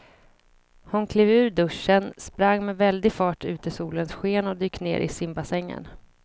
Hon klev ur duschen, sprang med väldig fart ut i solens sken och dök ner i simbassängen.